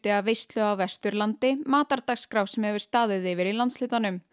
af veislu á Vesturlandi matardagskrá sem hefur staðið yfir í landshlutanum